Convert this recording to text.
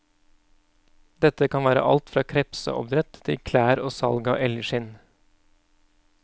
Dette kan være alt fra krepseoppdrett til klær og salg av elgskinn.